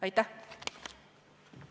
Aitäh!